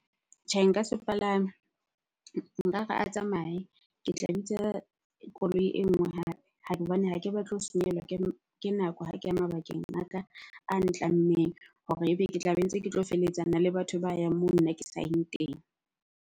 Tjhe, nka sepalame. Nkare a tsamaye, ke tla bitsa koloi e nngwe hape ha ke batle ho senyehellwa ke nako ha ke ya mabakeng a ka a ntlammeng hore ebe ke tla be ntse ke tlo feletsana le batho ba yang moo nna ke sayeng teng.